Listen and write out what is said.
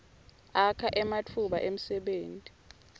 akha ematfuba emdebenti